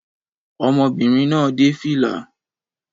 Ọmọbìnrin náà dé fìlà